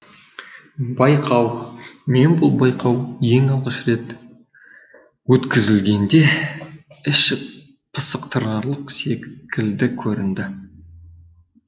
байқау мен бұл байқау ең алғаш рет өтгізілгенде іш пыстырарлық секілді көрінді